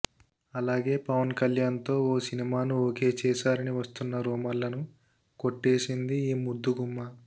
అలాగే పవన్ కళ్యాణ్ తో ఓ సినిమాను ఒకే చేశారని వస్తున్న రూమర్లను కొట్టేసింది ఈ ముద్దుగుమ్మ